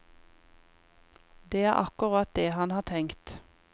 Det er akkurat det han har tenkt.